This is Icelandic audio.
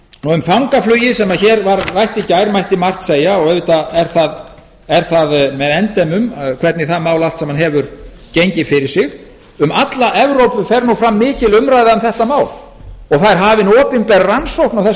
um fangaflugið sem hér var rætt í gær mætti margt segja og auðvitað er það með endemum hvernig það mál allt saman hefur gengið fyrir sig um alla evrópu fer nú fram mikil umræða um þetta mál og það er hafin opinber rannsókn á þessu